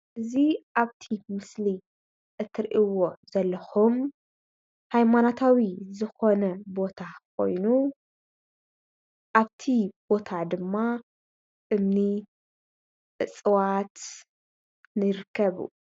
እዚ ኣብቲ ምስሊ እትሪእዎ ዘለኩም ሃይማኖታዊ ዝኮነ ቦታ ኮይኑ ኣብቲ ቦታ ድማ እምኒ እፅዋት ንርከቡ::